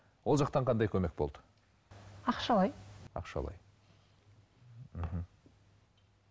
ол жақтан қандай көмек болды ақшалай ақшалай мхм